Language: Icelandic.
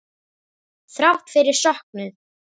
Þrátt fyrir söknuð.